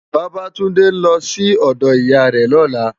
Babatunde n lò si òdò Iyá rè lòlá